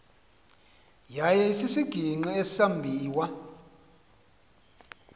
yaye isisigingqi esambiwa